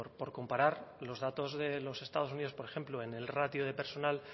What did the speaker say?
por comparar los datos de los estados unidos por ejemplo en el ratio de personal